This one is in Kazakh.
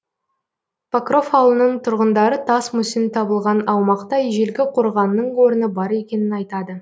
покров ауылының тұрғындары тас мүсін табылған аумақта ежелгі қорғанның орны бар екенін айтады